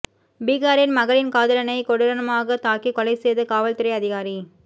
பீகாரில் மகளின் காதலனை கொடூரமாகத் தாக்கிக் கொலை செய்த காவல்துறை அதிகாரி